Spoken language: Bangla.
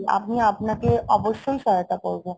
আপনি আপনাকে অবশ্যই সহায়তা করবো